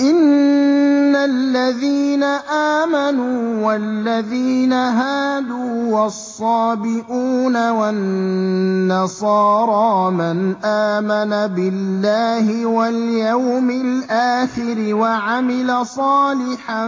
إِنَّ الَّذِينَ آمَنُوا وَالَّذِينَ هَادُوا وَالصَّابِئُونَ وَالنَّصَارَىٰ مَنْ آمَنَ بِاللَّهِ وَالْيَوْمِ الْآخِرِ وَعَمِلَ صَالِحًا